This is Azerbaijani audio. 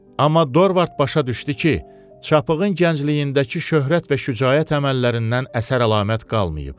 Amma Dorvart başa düşdü ki, çapığın gəncliyindəki şöhrət və şücaət əməllərindən əsər-əlamət qalmayıb.